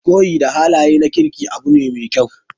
Koyi da halaye na kirki abu ne mai kyau.